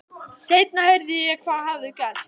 Seinna heyrði ég hvað hafði gerst.